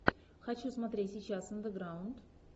хочу смотреть сейчас андеграунд